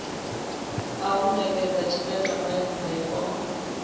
a u ṋekedza tshitatamennde o